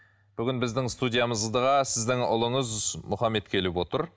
бүгін біздің студиямызға сіздің ұлыңыз мұхаммед келіп отыр